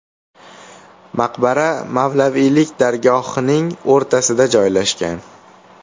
Maqbara mavlaviylik dargohining o‘rtasida joylashgan.